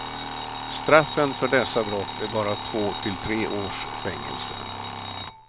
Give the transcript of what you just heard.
Straffen för dessa brott är bara två till tre års fängelse.